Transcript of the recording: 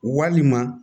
Walima